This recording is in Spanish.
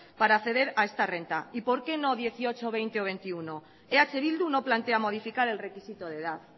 para acceder a esta renta y por qué no dieciocho hogei o hogeita bat eh bildu no plantea modificar el requisito de edad